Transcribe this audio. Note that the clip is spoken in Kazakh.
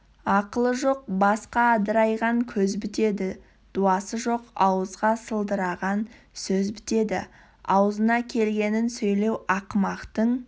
ақылы жоқ басқа адырайған көз бітеді дуасы жоқ ауызға сылдыраған сөз бітеді аузына келгенін сөйлеу ақымақтың